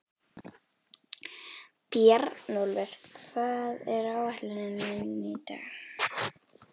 Bjarnólfur, hvað er á áætluninni minni í dag?